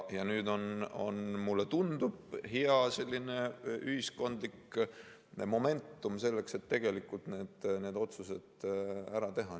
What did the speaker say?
Nüüd on, mulle tundub, selline hea ühiskondlik momentum, selleks et need otsused ära teha.